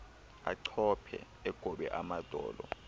achophe egobe amadolo